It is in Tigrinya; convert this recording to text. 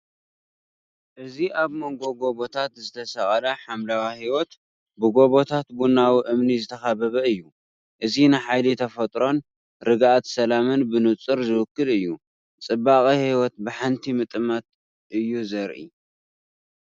እዚ ኣብ መንጎ ጎቦታት ዝተሰቕለ ሓምላይ ህይወት፡ ብጎቦታት ቡናዊ እምኒ ዝተኸበበ እዩ። እዚ ንሓይሊ ተፈጥሮን ርግኣት ሰላምን ብንጹር ዝውክል እዩ፤ ጽባቐ ህይወት ብሓንቲ ምጥማት እዩ ዘርኢ።